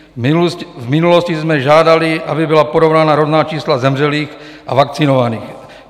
V minulosti jsme žádali, aby byla porovnána rodná čísla zemřelých a vakcinovaných.